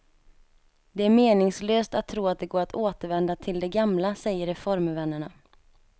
Det är meningslöst att tro att det går att återvända till det gamla säger reformvännerna.